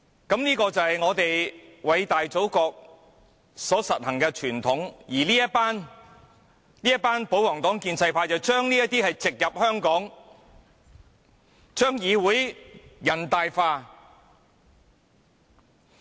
這就是我們偉大祖國所實行的傳統，而這群保皇黨、建制派議員，將這些都植入香港，將議會人大化。